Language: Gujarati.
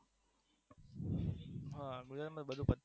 ના ગુજરાતમાં બધું પતી ગયું